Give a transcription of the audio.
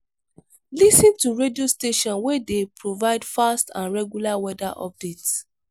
lis ten to radio station wey dey provide fast and regular weather update